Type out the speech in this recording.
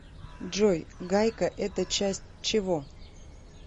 джой гайка это часть чего